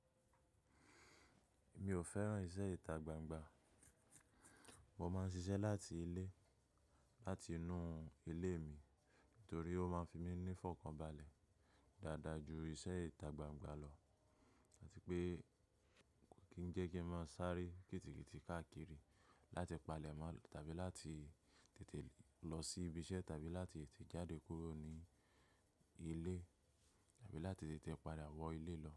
Mi ò fẹ́ràn iṣẹ́ ìta gbangba. Mo máa ń ṣiṣẹ́ láti ilé, láti inú ilé mi torí ó máa ń fi mí ní fọkànbalẹ̀ dáadáa ju iṣẹ́ ìta gbangba lọ. Áti pé kí ń jẹ́ kí ń má sáré kìtìkìtì káàkiri láti palẹ̀ mọ́ tàbí láti tètè lọ sí ibi iṣẹ́ tàbí láti tètè jáde kúrò ní ilé tàbí láti tètè padà wọ ilé lọ.